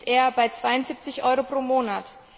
Dort liegt er bei 72 Euro pro Monat.